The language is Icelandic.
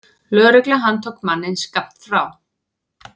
Lögregla handtók manninn skammt frá.